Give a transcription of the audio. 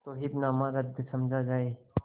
तो हिब्बानामा रद्द समझा जाय